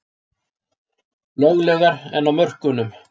Löglegar en á mörkunum